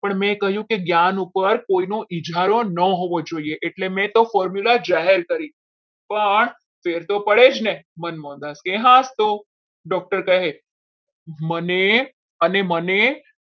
પણ મેં કહ્યું કે જ્ઞાન ઉપર કોઈનો ઇજારો ના હોવો જોઈએ એટલે મેં તો formula જાહેર કરી પણ ફેર તો પડે જ ને હનુમાનદાસ કહે હા જ તો doctor કહે મને અને મને